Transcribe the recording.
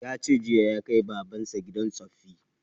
Ya ce jiya ya kai baban sa gidan tsoffi